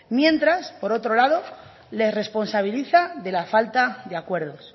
mientras por otro lado le responsabiliza de la falta de acuerdos